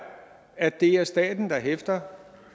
at det er staten der hæfter